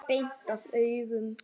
Beint af augum.